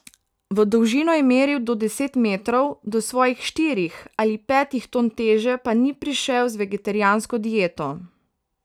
V dolžino je meril do deset metrov, do svojih štirih ali petih ton teže pa ni prišel z vegetarijansko dieto.